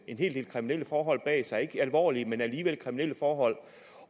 en hel del kriminelle forhold bag sig ikke alvorlige men alligevel kriminelle forhold